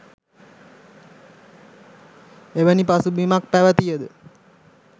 එවැනි පසුබිමක් පැවතිය ද